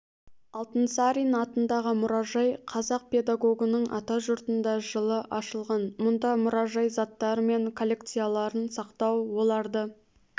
алтынсарин атындағы мұражай қазақ педагогының атажұртында жылы ашылған мұнда мұражай заттары мен коллекцияларын сақтау оларды